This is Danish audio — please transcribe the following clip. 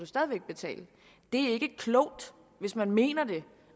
stadig væk betale det er ikke klogt hvis man mener det